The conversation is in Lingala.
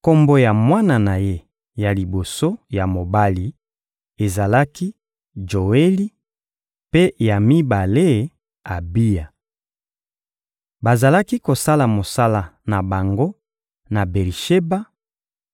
Kombo ya mwana na ye ya liboso ya mobali ezalaki «Joeli,» mpe ya mibale, «Abiya.» Bazalaki kosala mosala na bango na Beri-Sheba,